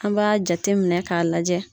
An b'a jate minɛ k'a lajɛ.